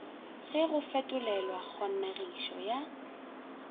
ge go fetolelwa kgonegišo ya